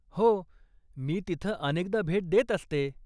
हो. मी तिथं अनेकदा भेट देत असते.